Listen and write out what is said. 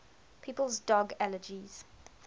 people's dog allergies